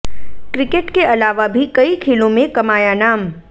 cricket के अलावा भी कई खेलों में कमाया नाम